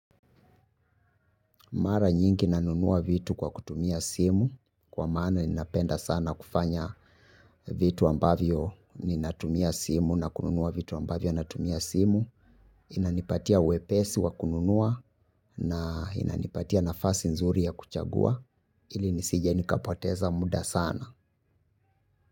Mara nyingi nanunua vitu kwa kutumia simu. Kwa maana ninapenda sana kufanya vitu ambavyo ninatumia simu na kununua vitu ambavyo natumia simu. Inanipatia wepesi wa kununua na inanipatia nafasi nzuri ya kuchagua. Ili nisije nikapoteza muda sana.